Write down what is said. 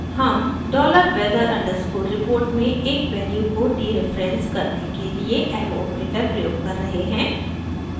हम $weather underscore report में एक वैल्यू को डीरेफरेन्स करने के लिए एरो ऑपरेटर प्रयोग कर रहे हैं